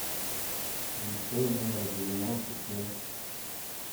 лицей номер девяносто семь